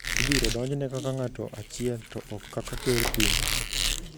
ibiro donjne kaka ng’ato achiel to ok kaka ker piny.